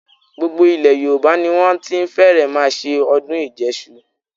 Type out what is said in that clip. Gbogbo ilẹ̀ Yorùbá ni wọ́n ti fẹ́rẹ̀ẹ́ máa ṣe ọdún ìjẹṣu.